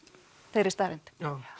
þeirri staðreynd